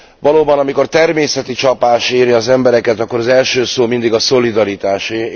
Valóban, amikor természeti csapás éri az embereket, akkor az első szó mindig a szolidaritásé.